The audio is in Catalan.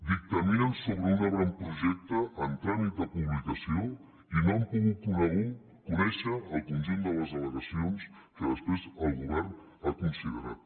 dictaminen sobre un avantprojecte en tràmit de publicació i no han pogut conèixer el conjunt de les al·legacions que després el govern ha considerat